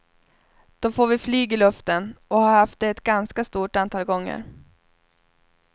Då får vi flyg i luften, och har haft det ett ganska stort antal gånger.